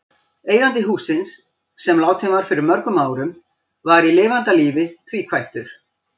Eigandi hússins, sem látinn var fyrir mörgum árum, var í lifanda lífi tvíkvæntur.